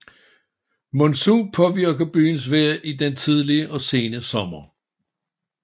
Monsun påvirker byens vejr i den tidlige og sene sommer